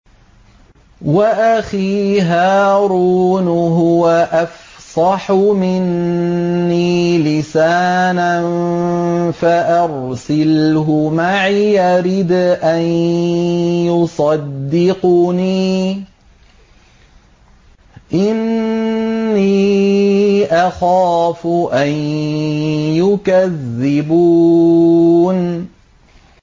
وَأَخِي هَارُونُ هُوَ أَفْصَحُ مِنِّي لِسَانًا فَأَرْسِلْهُ مَعِيَ رِدْءًا يُصَدِّقُنِي ۖ إِنِّي أَخَافُ أَن يُكَذِّبُونِ